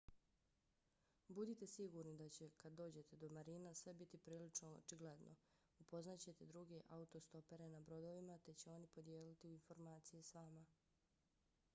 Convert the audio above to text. budite sigurni da će kad dođete do marina sve biti prilično očigledno. upoznat ćete druge autostopere na brodovima te će oni podijeliti informacije s vama